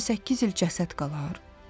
28 il cəsəd qalar?